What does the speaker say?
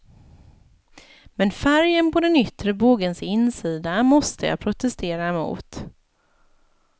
Men färgen på den yttre bågens insida måste jag protestera mot.